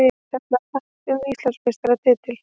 Tefla hratt um Íslandsmeistaratitil